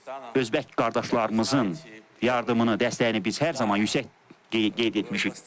Özbək qardaşlarımızın yardımını, dəstəyini biz hər zaman yüksək qeyd etmişik.